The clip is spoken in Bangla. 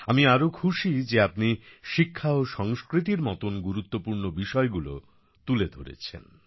আমি আরও খুশি যে আপনি শিক্ষা ও সংস্কৃতির মতন গুরুত্বপূর্ণ বিষয়গুলো তুলে ধরেছেন